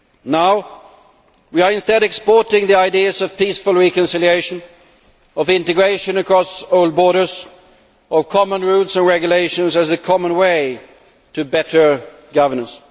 Now, we are instead exporting the idea of peaceful reconciliation, of integration across old borders, of common rules and regulations as the common way to better governance.